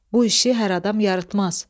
Bu işi hər adam yarıtmaz.